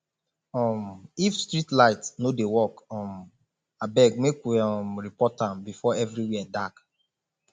um if street light no dey work um abeg make we um report am before everywhere dark